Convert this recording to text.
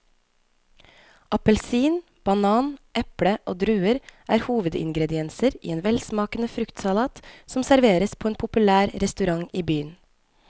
Appelsin, banan, eple og druer er hovedingredienser i en velsmakende fruktsalat som serveres på en populær restaurant i byen.